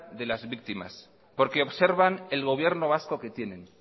de las víctimas porque observan el gobierno vasco que tienen